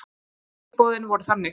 Tilboðin voru þannig